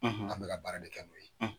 an bɛka baara de kɛ u ye.